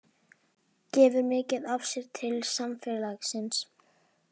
Gefur mikið af sér til samfélagsins